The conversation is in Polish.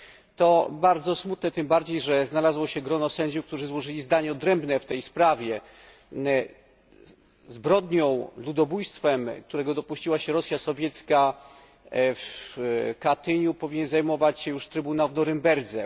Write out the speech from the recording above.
To bardzo smutne, tym bardziej że znalazło się grono sędziów, którzy złożyli zdanie odrębne w tej sprawie. Zbrodnią, ludobójstwem, którego dopuściła się Rosja Sowiecka w Katyniu, powinien zajmować się już Trybunał w Norymberdze.